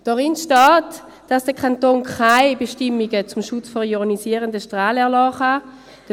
Darin steht, dass der Kanton keine Bestimmungen zum Schutz vor nichtionisierenden Strahlen erlassen kann.